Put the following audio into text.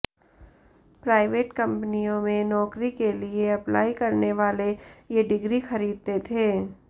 private कंपनियों में नौकरी के लिए अप्लाई करने वाले ये डिग्री खरीदते थे